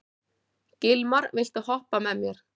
Gilmar, viltu hoppa með mér?